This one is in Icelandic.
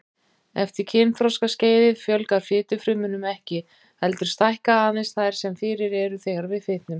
Eftir kynþroskaskeiðið fjölgar fitufrumum ekki, heldur stækka aðeins þær sem fyrir eru þegar við fitnum.